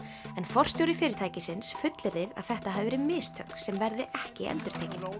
en forstjóri fyrirtækisins fullyrðir að þetta hafi verið mistök sem verði ekki endurtekin